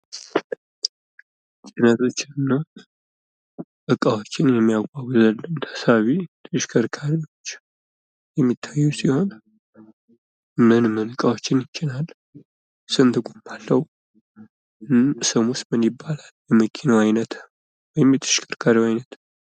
ጭነቶችን እና እቃዎችን የሚያጓጓዝልን ተሳቢ ተሽከርካሪዎች የሚታየን ሲሆን ፤ ምን ምን እቃዎችን ይጭናል? ስንት ጎማ አለው? ስሙስ ምን ይባላል?